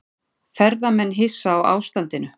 Ferðamenn hissa á ástandinu